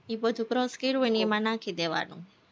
ઈ બધું crush કરું હોય ને એ એમાં નાખી દેવાનું